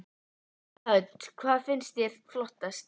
Hödd: Hvað finnst þér flottast?